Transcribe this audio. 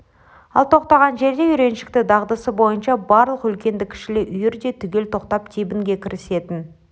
ол тоқтаған жерде үйреншікті дағдысы бойынша барлық үлкенді-кішілі үйір де түгел тоқтап тебінге кірісетін